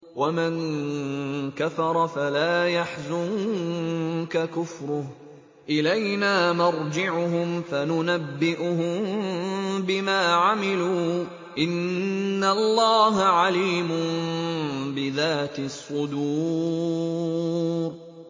وَمَن كَفَرَ فَلَا يَحْزُنكَ كُفْرُهُ ۚ إِلَيْنَا مَرْجِعُهُمْ فَنُنَبِّئُهُم بِمَا عَمِلُوا ۚ إِنَّ اللَّهَ عَلِيمٌ بِذَاتِ الصُّدُورِ